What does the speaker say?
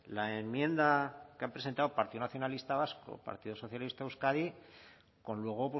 la enmienda que han presentado partido nacionalista vasco partido socialista de euskadi con luego